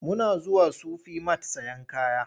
Muna zuwa Sufi mat sayen kaya.